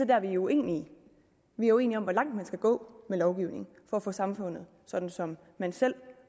der vi er uenige vi er uenige om hvor langt man skal gå med lovgivning for at få samfundet sådan som man selv